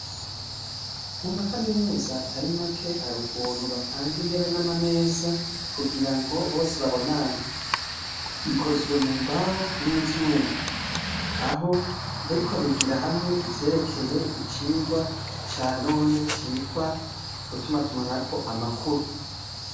Mu ma kaminuza atari make, hari ukuntu bapanga intebe n'amameza kugira ngo bose babonane. Bikozwe mu mbaho n'ivyuma. Aho bariko bigira hamwe ivyerekeye icigwa ca none citwa ugutumatumanako amakuru.